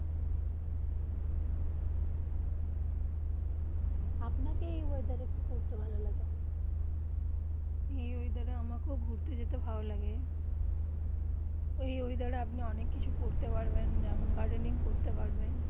আমাকে যেই ওয়েদার ঘুরতে যেতে ভালো লাগে এই ওয়েদার আমাকে ঘুরতে যেতে ভালো লাগে ওই ওয়েদার আপনি অনেক কিছু করতে পারবেন যেমন.